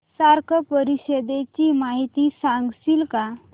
SAARC परिषदेची माहिती सांगशील का